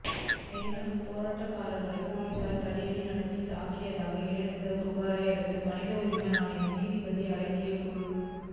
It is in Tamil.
மெரினாவில் போராட்டக்காரர்களை போலீசார் தடியடி நடத்தி தாக்கியதாக எழுந்த புகாரை அடுத்து மனித உரிமை ஆணைய நீதிபதி அடங்கிய குழு